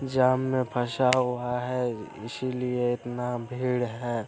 जाम में फसा हुआ है इसीलिये इतना भीड़ है।